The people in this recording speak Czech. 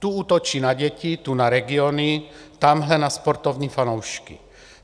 Tu útočí na děti, tu na regiony, tamhle na sportovní fanoušky.